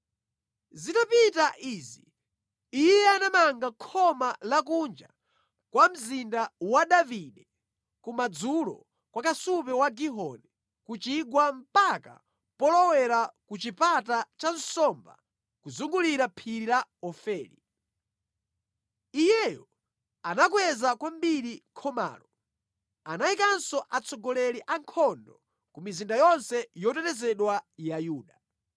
Zitapita izi iye anamanga khoma la kunja kwa Mzinda wa Davide kumadzulo kwa kasupe wa Gihoni ku chigwa mpaka polowera ku Chipata cha Nsomba kuzungulira phiri la Ofeli. Iyeyo anakweza kwambiri khomalo. Anayikanso atsogoleri a nkhondo ku mizinda yonse yotetezedwa ya Yuda.